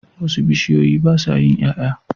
Wasu bishiyoyi basa yin yaya